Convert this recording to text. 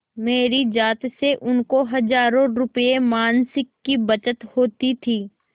मेरी जात से उनको हजारों रुपयेमासिक की बचत होती थी